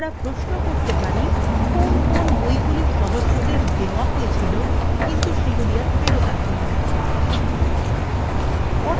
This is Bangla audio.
উদাহরণস্বরূপ আমরা প্রশ্ন করতে পারি কোন কোন বইগুলি সদস্যদের দেওয়া হয়েছিল কিন্তু সেগুলি for ফেরত আসেনি